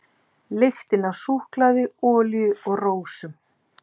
Lyktin af súkkulaði, olíu og rósum.